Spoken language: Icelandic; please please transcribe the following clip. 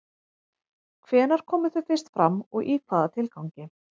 Hvenær komu þau fyrst fram og í hvaða tilgangi?